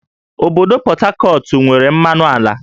Obodo Pọt Hakọt nwere mmanụ ala